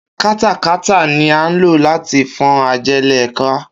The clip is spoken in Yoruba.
Katakata ni à ń lò láti fọ́n ajẹ́lẹ̀ ká